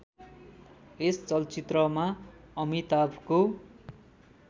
यस चलचित्रमा अमिताभको